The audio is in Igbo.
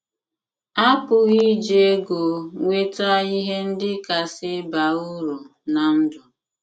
A pụghị iji ego nweta ihe ndị kasị baa uru ná ndụ